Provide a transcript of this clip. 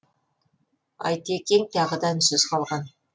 айтекең тағы да үнсіз қалған